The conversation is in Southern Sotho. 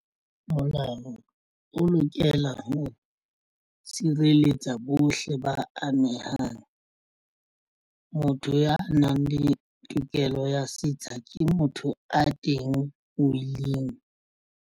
Molao o lokela ho sireletsa bohle ba amehang. Motho ya nang le tokelo ya setsha ke motho a teng willing.